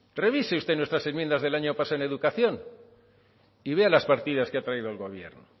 revise usted nuestras enmiendas del año pasado en educación y vea las partidas que ha traído el gobierno